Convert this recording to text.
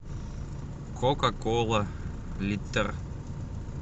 кока кола литр